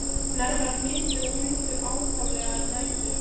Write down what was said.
Hnerrar mikið og hrýtur ákaflega um nætur.